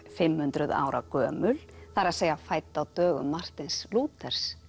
fimm hundruð ára gömul það er að fædd á dögum Martins